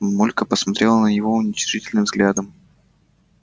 мамулька посмотрела на него уничижительным взглядом